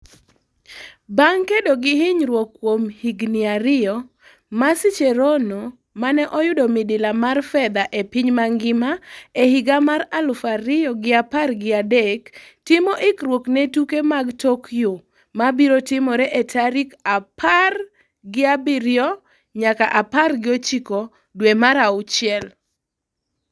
Bang’ kedo gi hinyruok kuom higni ariyo, Mercy Cherono, mane oyudo midila mar fedha e piny mangima e higa mar aluf ariyo gi apar gi adek, timo ikruok ne tuke mag Tokyo ma biro timore e tarik apar gi abiriyo nyaka apar gi ochiko dwe mar auchiel.